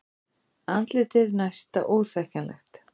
Andlitið næsta óþekkjanlegt.